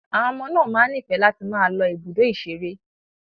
Àwọn ọmọ náà máa ń nífẹ̀ẹ́ láti máa lọ ibùdó ìṣeré.